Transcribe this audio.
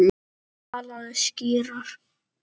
Talaðu skýrar.